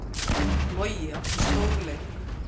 Logi átti stórleik